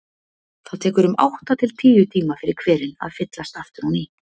Það tekur um átta til tíu tíma fyrir hverinn að fyllast aftur á ný.